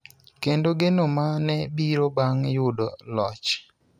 kendo geno ma ne biro bang� yudo loch.